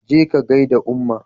je ka gaida umma!